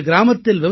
இன்று கிராமத்தில்